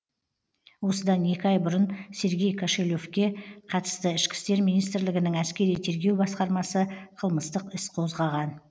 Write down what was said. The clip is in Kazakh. осыдан екі ай бұрын сергей кошелевке қатысты ішкі істер министрлігінің әскери тергеу басқармасы қылмыстық іс қозғаған